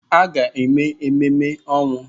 Ị ga-eme ememe ọnwụ!